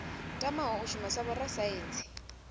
tamaho u shuma sa vhorasaintsi